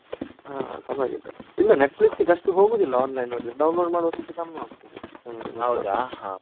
ಹಾ ಪರ್ವಾಗಿಲ್ಲ, ಇಲ್ಲ Netflix ಗೆ ಅಷ್ಟು ಹೋಗೋದಿಲ್ಲ online ನೋಡಿದ್ರೆ, download ಮಾಡುದಕ್ಕಿಂತ ಕಮ್ಮಿ ಹೋಗ್ತದೆ .